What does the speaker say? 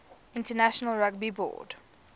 international rugby board